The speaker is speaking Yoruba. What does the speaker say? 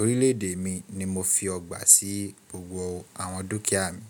orílẹ̀ èdè mi ni mo fi ọgbà sí gbogbo àwọn dúkìá mi.